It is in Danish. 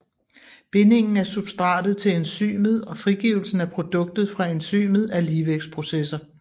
Bindingen af substratet til enzymet og frigivelsen at produktet fra enzymet er ligevægtsprocesser